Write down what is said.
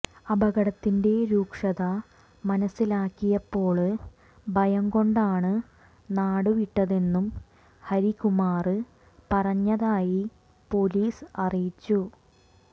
അപകടത്തിന്റെ രൂക്ഷത മനസിലാക്കിയപ്പോള് ഭയം കൊണ്ടാണ് നാടുവിട്ടതെന്നും ഹരികുമാര് പറഞ്ഞതായി പൊലീസ് അറിയിച്ചു